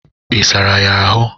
Ị sara ya ahụ?